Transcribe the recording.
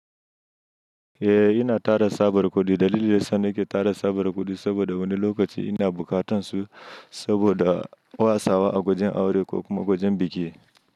Eh ina tara tsabar kuɗi, dalilin da yasa nake tara tsabar kuɗi saboda wani lokaci ina bukatan su saboda wasa a wajen aure ko kuma wajen biki.